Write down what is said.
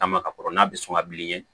Taama ka kɔrɔ n'a bɛ sɔn ka bilen